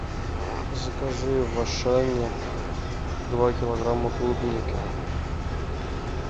закажи в ашане два килограмма клубники